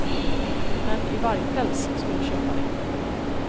Herrn i vargpäls skulle köpa det.